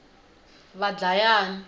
vadlayani